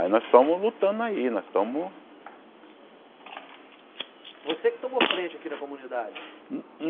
Aí nós estamos lutando aí, nós estamos... Você que tomou frente aqui na comunidade?